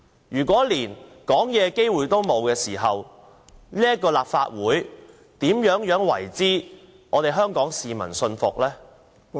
如果連發言的機會也沒有，這個立法會如何能讓香港市民信服？